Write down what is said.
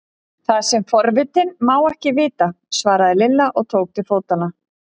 Það sem forvitinn má ekki vita! svaraði Lilla og tók til fótanna.